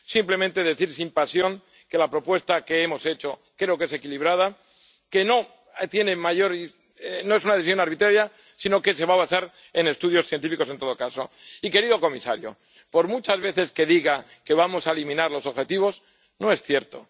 Simplemente, decir sin pasión que la propuesta que hemos hecho creo que es equilibrada, que no es una decisión arbitraria, sino que se va a basar en estudios científicos en todo caso. Y, querido comisario, por muchas veces que diga que vamos a eliminar los objetivos, no es cierto.